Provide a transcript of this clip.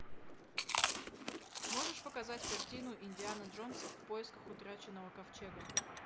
можешь показать картину индиана джонс в поисках утраченного ковчега